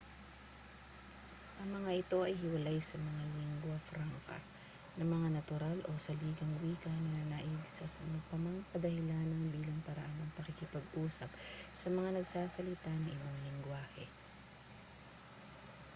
ang mga ito ay hiwalay sa mga lingua franca na mga natural o saligang wika na nananaig sa ano pa mang kadahilanan bilang paraan ng pakikipag-usap sa mga nagsasalita ng ibang lenggwahe